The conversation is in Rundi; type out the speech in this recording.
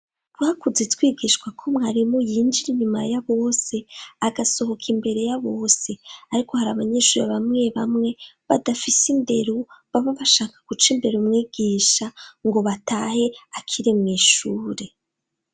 twakuze twigishwa ko mwarimu yinjira inyuma ya bose agasohoka imbere ya bose ariko hari abanyeshuri abamwe bamwe badafise inderu baba bashaka guca imbere umwigisha ngo batahe akiri mw'ishure